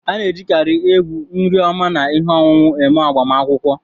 A na-ejikarị egwu, nri oma na ihe ọṅụṅụ eme agbamakwụkwọ.